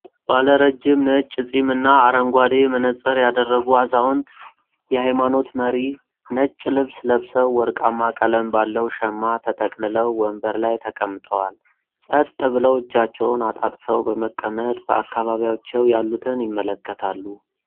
ባለ ረጅም ነጭ ፂም እና አረንጓዴ መነጽር ያደረጉ አዛውንት የሃይማኖት መሪ ነጭ ልብስ ለብሰው ወርቃማ ቀለም ባለው ሸማ ተጠቅልለው ወንበር ላይ ተቀምጠዋል። ጸጥ ብለው እጃቸውን አጣጥፈው በመቀመጥ በአካባቢያቸው ያሉትን ይመለከታሉ።